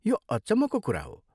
यो अचम्मको कुरा हो!